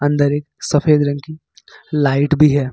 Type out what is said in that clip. अंदर एक सफेद रंग की लाइट भी है।